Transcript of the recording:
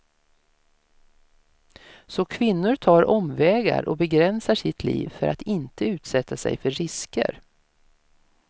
Så kvinnor tar omvägar och begränsar sitt liv för att inte utsätta sig för risker.